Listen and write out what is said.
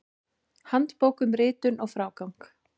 Handbók um ritun og frágang.